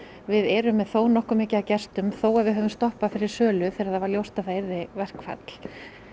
við erum með þó nokkuð mikið af gestum þó að við höfðum stoppað fyrir sölu þegar það var ljóst að það yrði verkfall